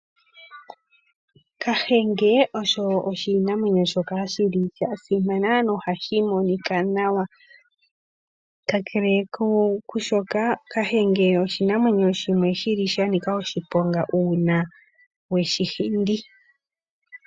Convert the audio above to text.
Kahenge osho oshinamwenyo shoka shili sha simana nohashi monika nawa ,kakele kwashoka kahenge oshinamwenyo shimwe shanika oshiponga uuna weshi hindi.